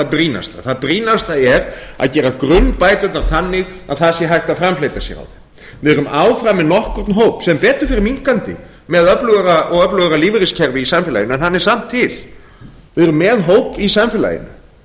brýnasta það brýnasta er að gera grunnbæturnar þannig að það sé hægt að framfleyta sér á þeim við erum áfram með nokkurn hóp sem betur fer minnkandi með öflugra og öflugra lífeyriskerfi í samfélaginu en hann er samt til við erum með hóp í samfélaginu